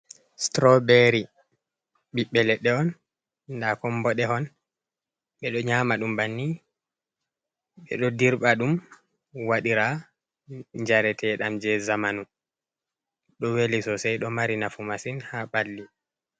Strawbery ɓiɓbe ledde on da kon mboɗe hon, ɓeɗo nyama ɗum banni ɓeɗo dirba ɗum waɗira jarete ɗam je zamanu ɗo weli sosai ɗo mari nafu masin ha balli.